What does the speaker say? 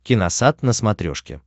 киносат на смотрешке